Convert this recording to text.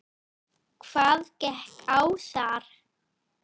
Hvað gekk á þar?